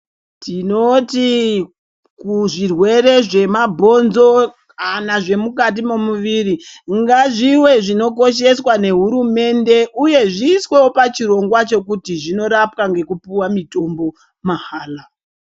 Tinoti kuzvirwere zvemabhonzo kana zvomukati momuviri, ngazviwe zvinokosheswa nehurumende , uye zviyisewo pachirongwa chekuti zvinorapwa ngekupuwa mitombo mahala.